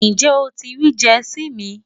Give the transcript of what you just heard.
Njẹ́ o ti riì Jersey mi?